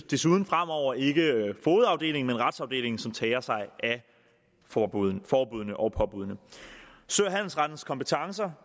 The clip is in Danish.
desuden fremover ikke fogedafdelingen men retsafdelingen som tager sig af forbuddene og påbuddene sø og handelsrettens kompetencer